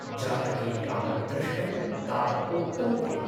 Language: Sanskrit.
जातके यावत् दृष्टं तावत् उक्तं तेन ।